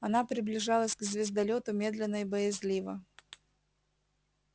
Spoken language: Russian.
она приближалась к звездолёту медленно и боязливо